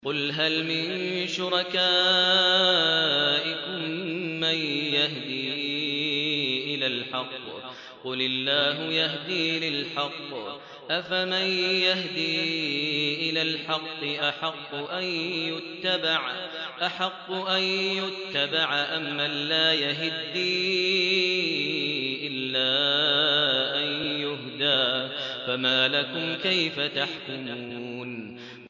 قُلْ هَلْ مِن شُرَكَائِكُم مَّن يَهْدِي إِلَى الْحَقِّ ۚ قُلِ اللَّهُ يَهْدِي لِلْحَقِّ ۗ أَفَمَن يَهْدِي إِلَى الْحَقِّ أَحَقُّ أَن يُتَّبَعَ أَمَّن لَّا يَهِدِّي إِلَّا أَن يُهْدَىٰ ۖ فَمَا لَكُمْ كَيْفَ تَحْكُمُونَ